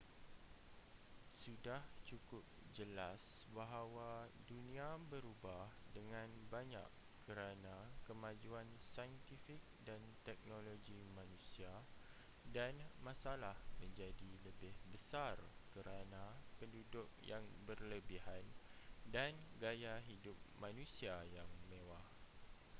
sudah cukup jelas bahawa dunia berubah dengan banyak kerana kemajuan saintifik dan teknologi manusia dan masalah menjadi lebih besar kerana penduduk yang berlebihan dan gaya hidup manusia yang mewah